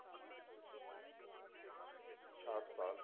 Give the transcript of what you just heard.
ਛਾਹਟ ਸਾਲ